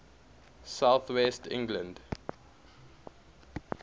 south west england